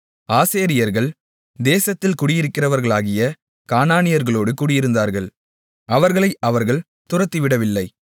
ஆசேரியர்கள் தேசத்தில் குடியிருக்கிறவர்களாகிய கானானியர்களோடு குடியிருந்தார்கள் அவர்களை அவர்கள் துரத்திவிடவில்லை